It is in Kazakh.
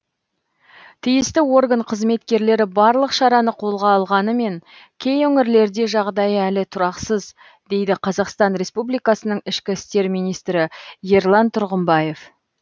тиісті орган қызметкерлері барлық шараны қолға алғанымен кей өңірлерде жағдай әлі тұрақсыз дейді қазақстан республикасының ішкі істер министрі ерлан тұрғымбаев